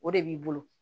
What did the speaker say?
O de b'i bolo